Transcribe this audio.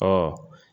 Ɔ